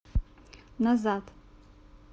назад